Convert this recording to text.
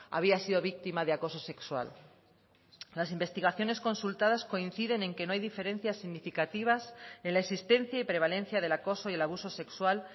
había sido víctima de acoso sexual las investigaciones consultadas coinciden en que no hay diferencias significativas en la existencia y prevalencia del acoso y el abuso sexual